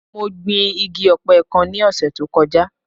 Mo gbin igi ọ̀pẹ kan ní ọ̀sẹ̀ tó kọjá.